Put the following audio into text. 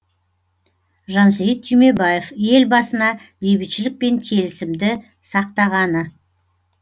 жансейіт түймебаев елбасына бейбітшілік пен келісімді сақтағаны